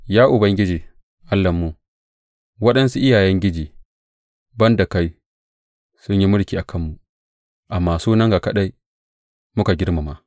Ya Ubangiji, Allahnmu, waɗansu iyayengiji ban da kai sun yi mulki a kanmu, amma sunanka kaɗai muka girmama.